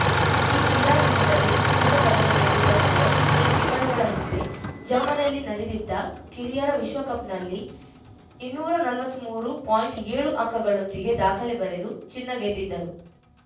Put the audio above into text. ಈ ಕ್ರೀಡಾಕೂಟದಲ್ಲಿ ಚಿನ್ನದ ಪದಕ ಗೆದ್ದಿದ್ದ ಸೌರಭ್‌ ಕೆಲ ತಿಂಗಳುಗಳ ಹಿಂದೆ ಜರ್ಮನಿಯಲ್ಲಿ ನಡೆದಿದ್ದ ಕಿರಿಯರ ವಿಶ್ವಕಪ್‌ನಲ್ಲಿ ಇನ್ನೂರ ನಲವತ್ತ್ ಮೂರು ಪಾಯಿಂಟ್ ಏಳು ಅಂಕಗಳೊಂದಿಗೆ ದಾಖಲೆ ಬರೆದು ಚಿನ್ನ ಗೆದ್ದಿದ್ದರು